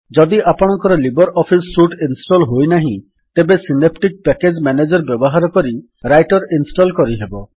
ଯଦି ଆପଣଙ୍କର libre office suite install ହୋଇନାହିଁ ତେବେ ସିନେପ୍ଟିକ୍ ପ୍ୟାକେଜ୍ ମ୍ୟାନେଜର୍ ବ୍ୟବହାର କରି ରାଇଟର୍ ଇନଷ୍ଟଲ୍ କରିହେବ